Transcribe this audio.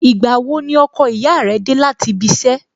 Ìgbà wo ni ọkọ ìyá rẹ dé láti ibi iṣẹ́?